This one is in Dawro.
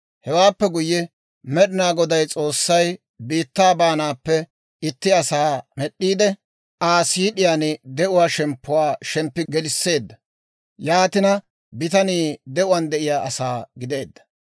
Hewaappe guyye, Med'inaa Goday S'oossay biittaa baanaappe itti asaa med'd'iide Aa siid'iyaan de'uwaa shemppuwaa shemppi gelisseedda; yaatina bitanii de'uwaan de'iyaa asaa gideedda.